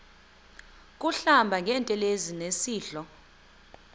kuhlamba ngantelezi nasidlo